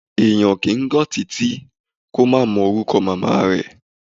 Ènìyàn kìí gọ̀ titi, kó má mọ orúkọ màmá rẹ̀.